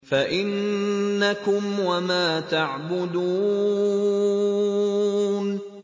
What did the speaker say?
فَإِنَّكُمْ وَمَا تَعْبُدُونَ